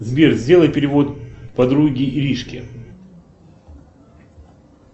сбер сделай перевод подруге иришке